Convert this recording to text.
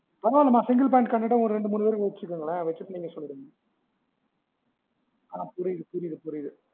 பரவால்ல மா ரெண்டு மூணு பேர் வச்சிக்கோங்களே வச்சிட்டு நீங்க சொல்லிடுங்க ஆஹ் புரிது புரிது புரிது